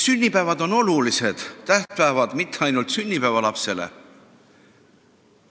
Sünnipäevad ei ole olulised tähtpäevad mitte ainult sünnipäevalapsele.